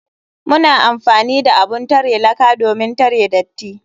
Muna amfani da abun tare laka domin tare datti.